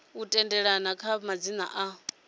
u tendelana kha madzina a